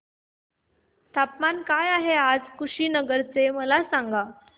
तापमान काय आहे आज कुशीनगर चे मला सांगा